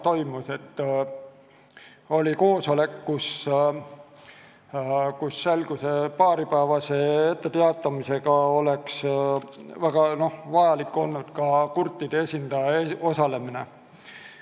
Korraldati koosolek, kus paaripäevase etteteatamise peale olnuks väga vajalik ka kurtide esindaja osalemine.